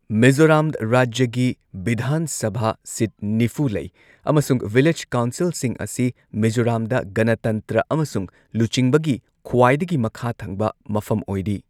ꯃꯤꯖꯣꯔꯥꯝ ꯔꯥꯖ꯭ꯌꯒꯤ ꯕꯤꯙꯥꯟ ꯁꯚꯥ ꯁꯤꯠ ꯅꯤꯐꯨ ꯂꯩ ꯑꯃꯁꯨꯡ ꯚꯤꯂꯦꯖ ꯀꯥꯎꯟꯁꯤꯜꯁꯤꯡ ꯑꯁꯤ ꯃꯤꯖꯣꯔꯥꯝꯗ ꯒꯅꯇꯟꯇ꯭ꯔ ꯑꯃꯁꯨꯡ ꯂꯨꯆꯤꯡꯕꯒꯤ ꯈ꯭ꯋꯥꯏꯗꯒꯤ ꯃꯈꯥ ꯊꯪꯕ ꯃꯐꯝ ꯑꯣꯏꯔꯤ꯫